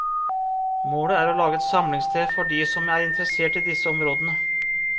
Målet er å lage et samlingssted for de som er interessert i disse områdene.